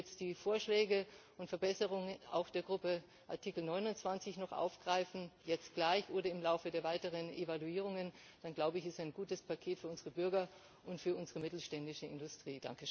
Und wenn Sie jetzt die Vorschläge und Verbesserungen auch der Gruppe Artikel 29 noch aufgreifen jetzt gleich oder im Laufe der weiteren Evaluierungen dann ist das ein gutes Paket für unsere Bürger und für unsere mittelständische Industrie.